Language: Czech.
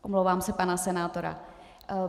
- Omlouvám se, pan senátor.